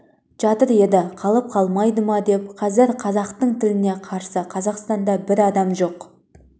жатыр еді қалып қалмайды ма деп қазір қазақтың тіліне қарсы қазақстанда бір адам жоқ жоқ